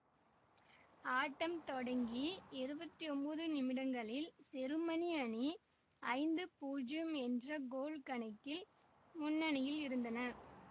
ஆட்டம் தொடங்கி இருவத்தி ஒம்போது நிமிடங்களில் செருமனி அணி ஐந்து பூஜ்யம் என்ற கோல் கணக்கில் முன்னணியில் இருந்தனர்